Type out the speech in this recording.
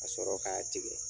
Ka sɔrɔ k'a tigɛ.